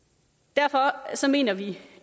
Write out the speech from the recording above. derfor mener vi